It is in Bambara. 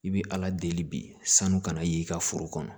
I bi ala deli bi sanu ka na y'i ka foro kɔnɔ